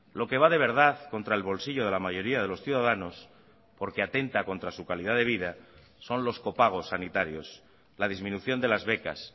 lo que va de verdad contra el bolsillo de la mayoría de los ciudadanos porque atenta contra su calidad de vida son los copagos sanitarios la disminución de las becas